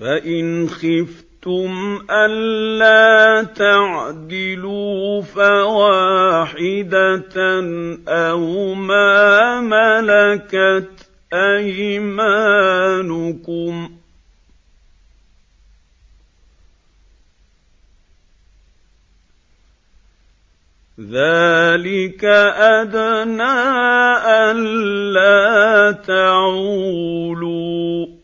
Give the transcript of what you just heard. فَإِنْ خِفْتُمْ أَلَّا تَعْدِلُوا فَوَاحِدَةً أَوْ مَا مَلَكَتْ أَيْمَانُكُمْ ۚ ذَٰلِكَ أَدْنَىٰ أَلَّا تَعُولُوا